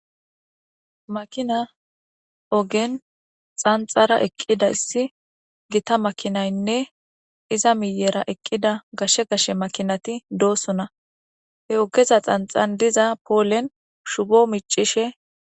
Makina ogen xanxara eqqida issi gita makinaynne iza miyera eqqida gashshe gashe makinati doosona he ogeza xanxan diza poolen shubo micishe.